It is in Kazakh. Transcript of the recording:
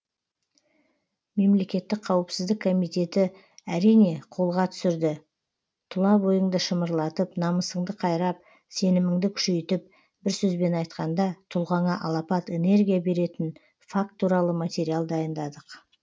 мемлекеттік қауіпсіздік комитеті әрине қолға түсірді тұла бойыңды шымырлатып намысыңды қайрап сеніміңді күшейтіп бір сөзбен айтқанда тұлғаңа алапат энергия беретін факт туралы материал дайындадық